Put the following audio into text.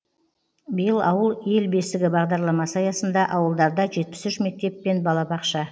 биыл ауыл ел бесігі бағдарламасы аясында ауылдарда жетпіс үш мектеп пен балабақша